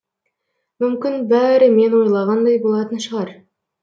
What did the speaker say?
мүмкін бәрі мен ойлағандай болатын шығар